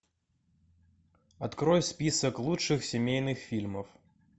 открой список лучших семейных фильмов